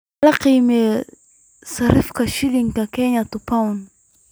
hel qiimaha sarifka shilinka Kenya to pound